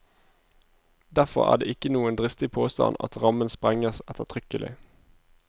Derfor er det ikke noen dristig påstand at rammen sprenges ettertrykkelig.